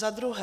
Za druhé.